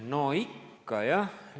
No ikka, jah.